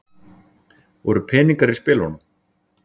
Voru peningar í spilunum?